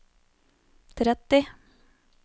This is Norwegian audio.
tretti